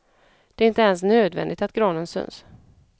Det är inte ens nödvändigt att granen syns.